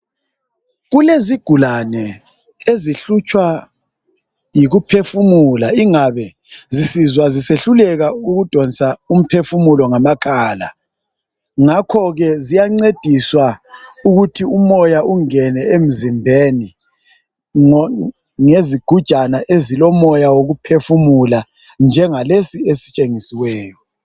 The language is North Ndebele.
Kulezigulane ezihlutshwa yikuphefumula ingabe zisizwa zisehluleka ukudonsa umphefumulo ngamakhala ngakho ke ziyancediswa ukuthi umoya ungene emzimbeni ngezigujana ezilomoya wokuphefumula njengalesi esitshengisiweyo